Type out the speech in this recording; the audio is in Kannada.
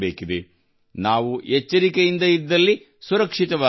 ನಾವು ಎಚ್ಚರಿಕೆಯಿಂದ ಇದ್ದಲ್ಲಿ ಸುರಕ್ಷಿತವಾಗಿ ಇರಬಹುದು